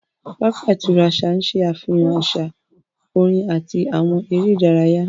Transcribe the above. Pápá ìtura àṣà ń ṣe àfihàn àṣà, orin àti àwọn eré ìdárayá